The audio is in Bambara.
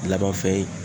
Laban fɛn ye